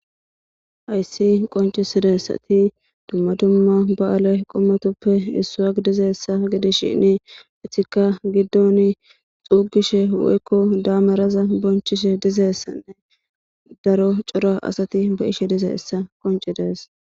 Hays qoncidaysat dumma dumma ba'ale qomotuppe issa gididishn etika giddon xompishe woyko daneraza bonchishe dizaysanne daro cora asat beyishe dizaysa qoncises.